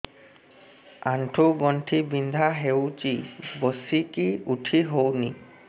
ଆଣ୍ଠୁ ଗଣ୍ଠି ବିନ୍ଧା ହଉଚି ବସିକି ଉଠି ହଉନି